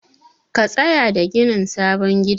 Ka tsaya da ginin sabon gidan.